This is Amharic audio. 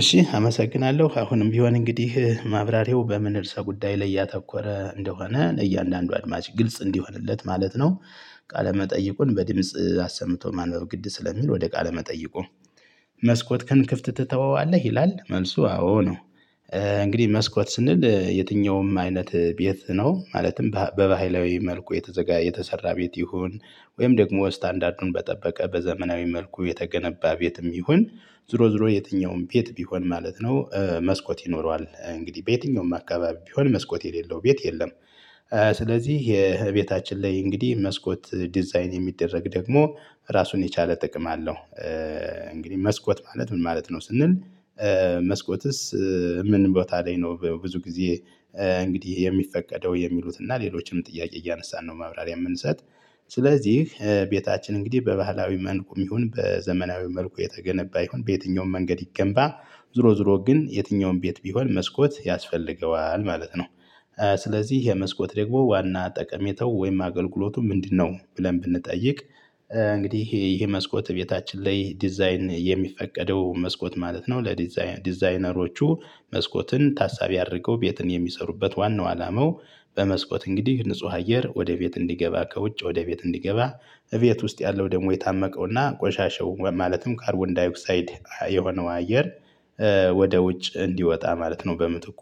እሺ አመሰግናለሁ አሁንም ቢሆን እንግዲህ ማብራሪያው በምን እርስ ጉዳይ ላይ እያተኮረ እንደሆነ እያንዳንዱ አድማጭ ግልጽ እንዲሆንለት ማለት ነው። ቃለ መጠይቁን በድምጽ አሰምቶ ማነው ግድ ስለሚል ወደ ቃለ መጠይቁ? መስኮት ከንክፍት ትተዋዋለህ ይላል መልሱ አዎ ነው። እንግዲህ መስኮት ስንል የትኛውም አይነት ቤት ነው ማለትም በባህላዊ መልኩ የተዘጋ የተሰራ ቤት ይሁን ወይም ደግሞ ስታንዳርዱን በጠበቀ በዘመናዊ መልኩ የተገነባ ቤትም ይሁን ዞሮ ዞሮ የትኛውም ቤት ቢሆን ማለት ነው መስኮት ይኖረዋል እንግዲህ በየትኛውም አካባቢ ቢሆን መስኮት የሌለው ቤት የለም። ስለዚህ የቤታችን ላይ እንግዲህ መስኮት ዲዛይን የሚደረግ ደግሞ ራሱን የቻለ ጥቅም አለው። እንግዲህ መስኮት ማለት ምን ማለት ነው ስንል? መስኮትስ ምን ቦታ ላይ ነው? ብዙ ጊዜ እንግዲህ የሚፈቀደው የሚሉትና ሌሎችንም ጥያቄ እያነሳን ነው ማብራሪያ የምንሰጥ። ስለዚህ ቤታችን እንግዲህ በባህላዊ መልኩም ይሁን በዘመናዊ መልኩ የተገነባ ይሁን በየትኛውም መንገድ ይገንባ ዝሮ ዝሮ ግን የትኛውም ቤት ቢሆን መስኮት ያስፈልገዋል ማለት ነው። ስለዚህ የመስኮት ደግሞ ዋና ጠቀሜተው ወይም አገልግሎቱ ምንድነው ብለን ብንጠይቅ? እንግዲህ ይሄ መስኮት ቤታችን ላይ ዲዛይን የሚፈቀደው መስኮት ማለት ነው ለዲዛይን ዲዛይነሮቹ መስኮትን ታሳቢ አድርገው ቤትን የሚሰሩበት ዋናው አላማው። በመስኮት እንግዲህ ንጹህ አየር ወደ ቤት እንዲገባ ከውጭ ወደ ቤት እንዲገባ እቤት ውስጥ ያለው ደግሞ የታመቀውና ቆሻሻው ማለትም ካርቦን ዳይክሳይድ የሆነው አየር። ወደ ውጭ እንዲወጣ ማለት ነው በምትኩ